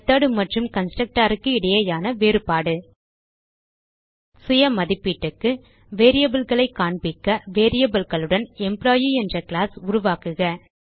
method மற்றும் constructorக்கு இடையேயான வேறுபாடு சுய மதிப்பீட்டுக்கு variableகளை காண்பிக்க variableகளுடன் எம்ப்ளாயி என்ற கிளாஸ் உருவாக்குக